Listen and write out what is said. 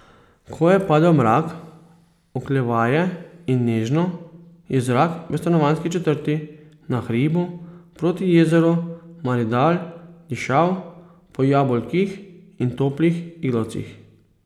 Ko je padel mrak, oklevaje in nežno, je zrak v stanovanjski četrti na hribu proti jezeru Maridal dišal po jabolkih in toplih iglavcih.